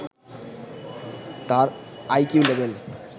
তার IQ level